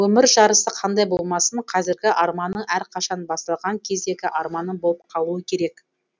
өмір жарысы қандай болмасын қазіргі арманың әрқашан басталған кездегі арманың болып қалуы керек